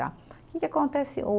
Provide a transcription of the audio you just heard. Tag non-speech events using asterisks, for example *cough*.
Que que acontece *unintelligible*